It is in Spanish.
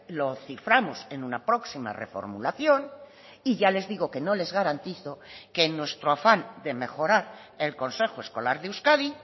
lo ciframos en una próxima reformulación y ya les digo que no les garantizo que en nuestro afán de mejorar el consejo escolar de euskadi